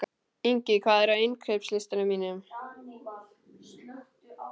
Ingi, hvað er á innkaupalistanum mínum?